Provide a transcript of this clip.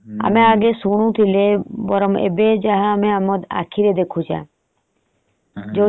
ଆମେ ଆଗେ ଶୁଣୁଥିଲେ ବରଂ ଏବେ ଆମେ ଯାହା ଆମ ଆଖିରେ ଦେଖୁଛେ।